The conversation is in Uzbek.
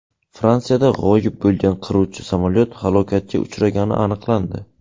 Fransiyada g‘oyib bo‘lgan qiruvchi samolyot halokatga uchragani aniqlandi.